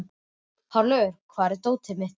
Hárlaugur, hvar er dótið mitt?